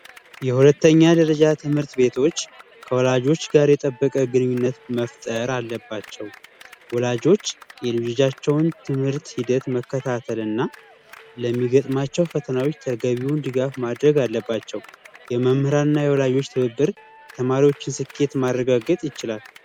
የሁለተኛ ደረጃ ትምህርት ቤቶች ከወላጆች ጋር የጠበቀ ግንኙነት መፍጠር አለባቸው። ወላጆች የልጆቻቸውን ትምህርት ሂደት መከታተል እና ስለሚገጥማቸው ፈተናዎች ተገቢውን ድጋፍ ማድረግ አለባቸው። የመምህራን እና የወላጆች ትብብር የተማሪዎችን ስኬት ማረጋገጥ ይችላል።